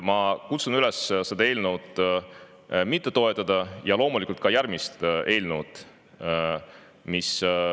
Ma kutsun üles seda eelnõu mitte toetama ja loomulikult ka järgmist eelnõu.